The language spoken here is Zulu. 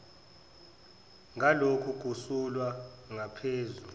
ngaloku kusulwa ngaphezu